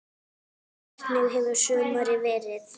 Hvernig hefur sumarið verið?